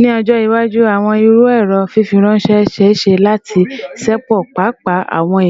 Ni ọjọ iwaju, awọn iru ẹrọ fifiranṣẹ ṣee ṣe lati ṣepọ paapaa awọn